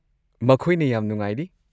ꯃꯈꯣꯏꯅ ꯌꯥꯝ ꯅꯨꯡꯉꯥꯏꯔꯤ꯫